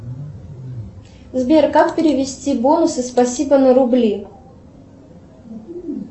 сбер как перевести бонусы спасибо на рубли